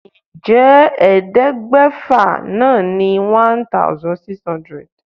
Ǹjẹ́ ẹ̀ẹ́dẹ́gbẹ́fà náà ni 1600?